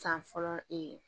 San fɔlɔ ee